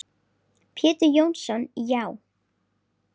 Pétur Jónsson Já.